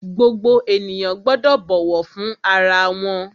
Gbogbo ènìyàn gbọ́dọ̀ bọ̀wọ̀ fún ara wọn!